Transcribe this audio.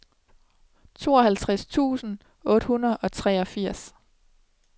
tooghalvtreds tusind otte hundrede og treogfirs